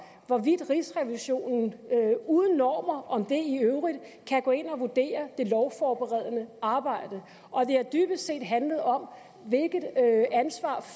hvorvidt rigsrevisionen uden normer om det i øvrigt kan gå ind og vurdere det lovforberedende arbejde og det har dybest set handlet om hvilket ansvar